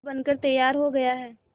पुल बनकर तैयार हो गया है